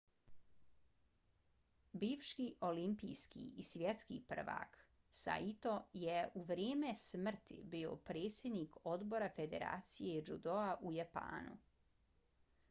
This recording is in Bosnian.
bivši olimpijski i svjetski prvak saito je u vrijeme smrti bio predsjednik odbora federacije džudoa u japanu